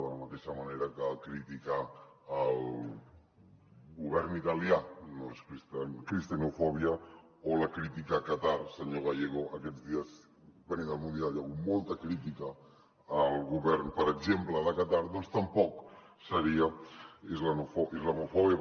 de la mateixa manera que criticar el govern italià no és cristianofòbia o la crítica a qatar senyor gallego aquests dies venint del mundial hi ha hagut molta crítica al govern per exemple de qatar doncs tampoc seria islamofòbia